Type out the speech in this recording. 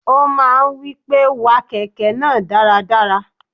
O máa ń wí pé, wa kẹ̀kẹ́ náà dáradára.